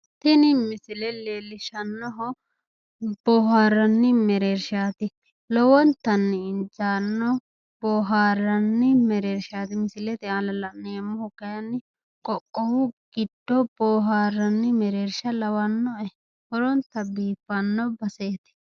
tini misile leellishshannohu boohaarranni mereershsha lowontanni injaanno boohaaranni mereershaati. kuni misilete aana la'neemmohu kaayiinni qoqqowu giddo mereershsha lowonta biiffanno baseeti.